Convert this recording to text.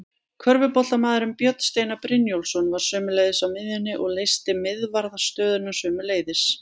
Körfuboltamaðurinn Björn Steinar Brynjólfsson var sömuleiðis á miðjunni og leysti miðvarðarstöðuna sömuleiðis.